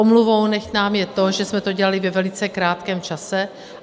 Omluvou nechť nám je to, že jsme to dělali ve velice krátkém čase.